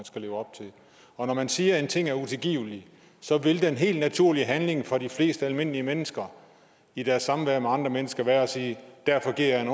skal leve op til og når man siger at en ting er utilgivelig vil den helt naturlige handling for de fleste almindelige mennesker i deres samvær med andre mennesker være at sige derfor giver jeg en